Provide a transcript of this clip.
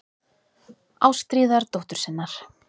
Ástríðar dóttur sinnar.